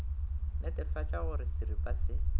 netefatša go re seripa se